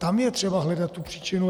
Tam je třeba hledat tu příčinu.